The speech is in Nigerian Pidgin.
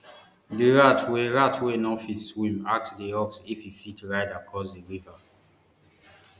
di rat wey rat wey no fit swim ask di ox if e fit ride across di river